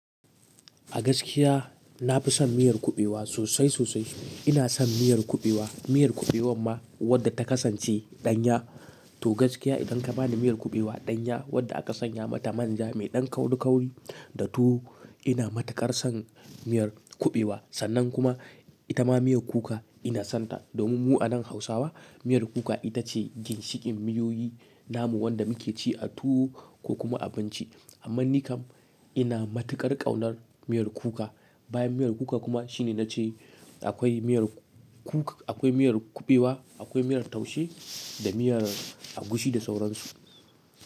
A gaskiya na fi son miyar kuɓewa sosai sosai. Ina son miyar kuɓewa, miyar kuɓewan ma wadda ta kasance ɗanya. To gaskiya idan ka bani miyar kuɓewa ɗanya wadda aka sanya mata manja mai ɗan kaurikauri, da tuwo ina matuƙar son miyar kuɓewa. Sannan kuma ita ma miyar kuka ina son ta. Domin mu a nan Hausawa miyar kuka ita ce ginshiƙin miyoyi namu wadda muke ci a tuwo ko kuma a abinci. Amman nikam ina matuƙar ƙaunar miyar kuka. Bayan miyar kuka kuma shine na ce akwai miyar kuk-akwai miyar kuɓewa, akwai miyar taushe da miyar agushi da sauransu.